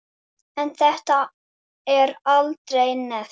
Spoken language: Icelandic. En þetta er aldrei nefnt.